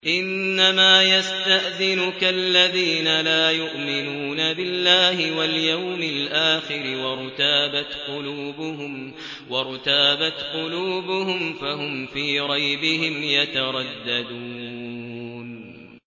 إِنَّمَا يَسْتَأْذِنُكَ الَّذِينَ لَا يُؤْمِنُونَ بِاللَّهِ وَالْيَوْمِ الْآخِرِ وَارْتَابَتْ قُلُوبُهُمْ فَهُمْ فِي رَيْبِهِمْ يَتَرَدَّدُونَ